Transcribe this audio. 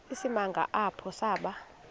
isimanga apho saba